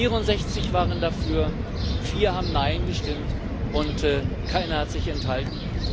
64 waren dafür, vier haben mit nein gestimmt, und keiner hat sich enthalten.